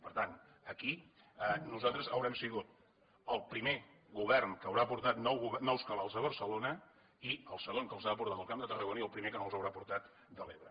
per tant aquí nosaltres haurem sigut el primer govern que haurà portat nous cabals a barcelona i el segon que els ha portat al camp de tarragona i el primer que no els haurà portat de l’ebre